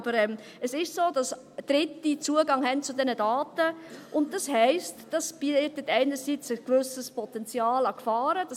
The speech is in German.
Aber es ist so, dass Dritte Zugang zu diesen Daten haben, und das heisst, dass dies einerseits ein gewisses Potenzial an Gefahren bietet.